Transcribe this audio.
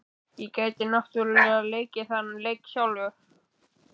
Ég gæti náttúrlega leikið þann leik sjálf.